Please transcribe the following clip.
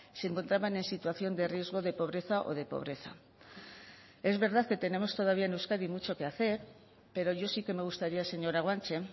se encontraban en situación de riesgo de pobreza o de pobreza es verdad que tenemos todavía en euskadi mucho que hacer pero yo sí que me gustaría señora guanche